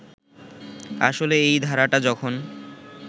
আসলে এই ধারাটা যখন